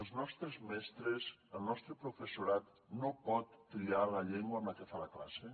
els nostres mestres el nostre professorat no pot triar la llengua amb la que fa la classe